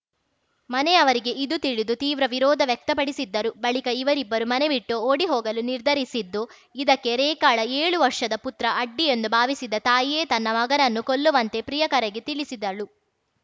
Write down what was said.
ಮನೆಯವರಿಗೆ ಇದು ತಿಳಿದು ತೀವ್ರ ವಿರೋಧ ವ್ಯಕ್ತಪಡಿಸಿದ್ದರು ಬಳಿಕ ಇವರಿಬ್ಬರು ಮನೆ ಬಿಟ್ಟು ಓಡಿ ಹೋಗಲು ನಿರ್ಧರಿಸಿದ್ದು ಇದಕ್ಕೆ ರೇಖಾಳ ಏಳು ವರ್ಷದ ಪುತ್ರ ಅಡ್ಡಿಯೆಂದು ಭಾವಿಸಿದ ತಾಯಿಯೇ ತನ್ನ ಮಗನನ್ನು ಕೊಲ್ಲುವಂತೆ ಪ್ರಿಯಕರಗೆ ತಿಳಿಸಿದ್ದಳು